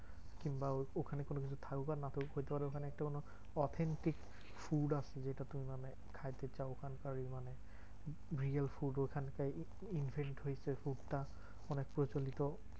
কিংবা ওখানে কিছু থাকবা না বলতে পারো একটু ওখানে authentic food আছে যেটা তুমি মানে খাইতে চাও ওখানকারই মানে food ওখানকার food টা অনেক প্রচলিত।